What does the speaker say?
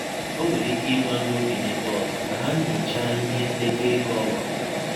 Ọ nwere ike ịgwa ndị okenye ndị ọzọ ka ha nyọchaa ihe ndekọ egọ ọgbakọ.